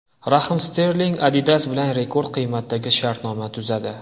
Rahim Sterling Adidas bilan rekord qiymatdagi shartnoma tuzadi.